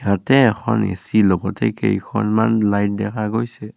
ইয়াতে এখন এ_চি লগতে কেইখনমান লাইট দেখা গৈছে।